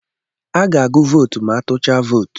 A ga-agụ vootu ma atụchaa vootu.